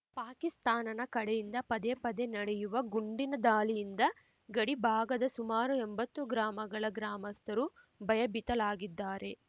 ಪಾಕಿಸ್ತಾನನ ಕಡೆಯಿಂದ ಪದೇ ಪದೇ ನಡೆಯುವ ಗುಂಡಿನ ದಾಳಿಯಿಂದ ಗಡಿಭಾಗದ ಸುಮಾರು ಎಂಬತ್ತು ಗ್ರಾಮಗಳ ಗ್ರಾಮಸ್ಥರು ಭಯಭೀತಲಾಗಿದ್ದಾರೆ